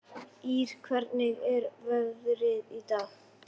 Ýr, hvernig er veðrið í dag?